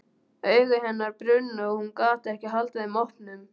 Augu hennar brunnu og hún gat ekki haldið þeim opnum.